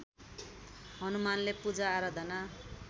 हनुमानले पूजाआराधना